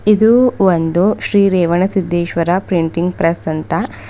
ಇದು ಒಂದು Shri Revana Siddeshwara printing press ಅಂತ.